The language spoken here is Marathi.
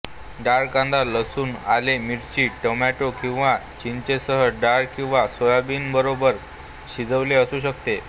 डाळ कांदा लसूण आले मिरची टोमॅटो किंवा चिंचेसह डाळ किंवा सोयाबीनबरोबर शिजवलेले असू शकते